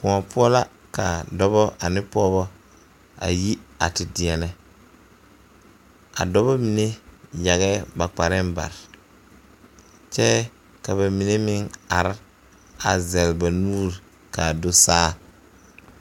Pɔɔ poɔ la ka dɔbɔ ane pɔɔbɔ a yi ti deɛnɛ a dɔbɔ mine yagɛɛ ba kparɛɛ bare kyɛɛ ka ba mine meŋ are a zɛle ba nuure laa so saa.